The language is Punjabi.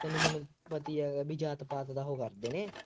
ਤੈਨੂੰ ਹੁਣ ਪਤਾ ਹੀ ਹੈਗਾ ਬਈ ਜਾਤ ਪਾਤ ਦਾ ਉਹ ਕਰਦੇ ਨੇ